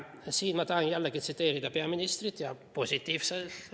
Siin ma tahan jällegi tsiteerida peaministrit ja positiivselt.